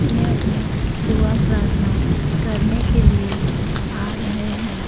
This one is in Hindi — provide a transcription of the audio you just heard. मैं अपने दुआ प्रार्थना करने के लिए आ रहे हैं।